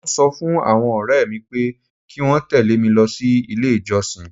Mọ ń sọ fún àwọn ọ̀rẹ́ mi pé kí wọ́n tẹ̀lé mi lọ sí ilé ìjọsìn.